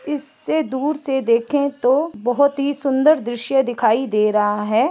इससे दूर से देखे तो बहुत ही सुंदर दृश्य दिखाई दे रहा है।